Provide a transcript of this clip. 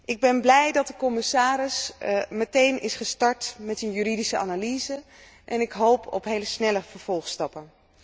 Ik ben blij dat de commissaris meteen is gestart met een juridische analyse en ik hoop op heel snelle vervolgstappen.